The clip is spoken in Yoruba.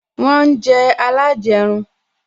Wọn ń jẹ alajerun